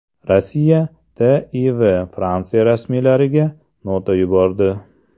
Rossiya TIV Fransiya rasmiylariga nota yubordi.